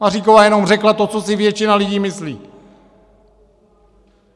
Maříková jenom řekla to, co si většina lidí myslí.